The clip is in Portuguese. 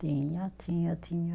Tinha, tinha, tinha.